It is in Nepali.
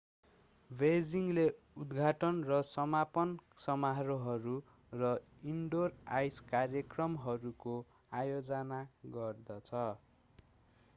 बेइजिङले उद्घाटन र समापन समारोहहरू र इनडोर आइस कार्यक्रमहरूको आयोजना गर्दछ